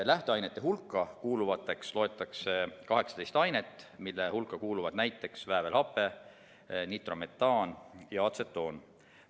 Lähteainete hulka kuuluvateks loetakse 18 ainet, näiteks väävelhape, nitrometaan ja atsetoon.